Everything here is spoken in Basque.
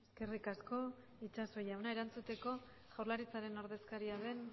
eskerrik asko itxaso jauna erantzuteko jaurlaritzaren ordezkaria den